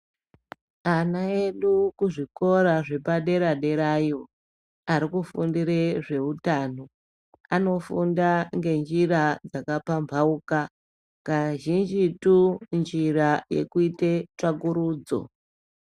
Ana edu ku zvikora zvepa dera derayo ari kufundire zveutano anofunda nge njira dzaka pambauka kazhinjitu injira yekuite tsvakurudzo.